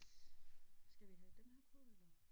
Skal vi have dem her på eller?